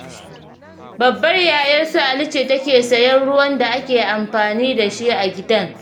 Babbar yayar su Ali ce take sayen ruwan da ake amfani da shi a gidan.